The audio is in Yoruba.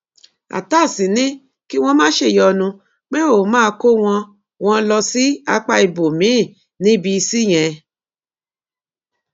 atass ní kí wọn má ṣèyọnu pé òun máa kó wọn wọn lọ sí apá ibòmíín ní bíìsì yẹn